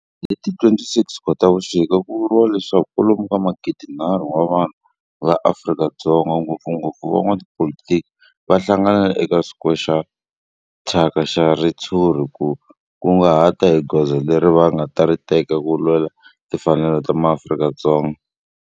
Hi ti 26 Khotavuxika ku vuriwa leswaku kwalomu ka magidinharhu wa vanhu va Afrika-Dzonga, ngopfungopfu van'watipolitiki va hlanganile eka square xo thyaka xa ritshuri ku ta kunguhata hi goza leri va nga ta ri teka ku lwela timfanelo ta maAfrika-Dzonga.